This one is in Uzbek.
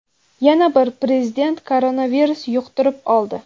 Yana bir Prezident koronavirus yuqtirib oldi.